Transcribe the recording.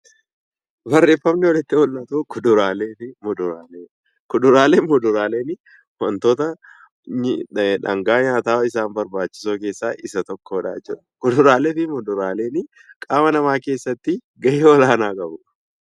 Kuduraalee fi muduraaleen wantoota dhangaa nyaataa isaan babaachisoo keessaa Isa tokkodha jechuudha. Kuduraalee fi muduraaleen qaama namaa keessatti gahee olaanaa qabu.